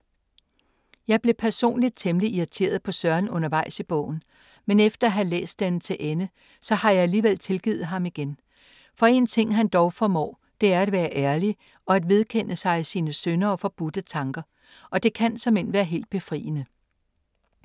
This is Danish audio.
Jeg blev personligt temmelig irriteret på Søren undervejs i bogen. Men efter at have læst den til ende har jeg alligevel tilgivet ham igen. For en ting han dog formår, det er at være ærlig og at vedkende sig sine synder og forbudte tanker. Og det kan såmænd være helt befriende.